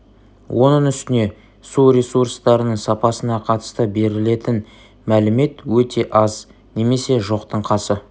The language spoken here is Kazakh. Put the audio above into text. оның үстіне су ресурстарының сапасына қатысты берілетін мәлімет өте аз немесе жоқтың қасы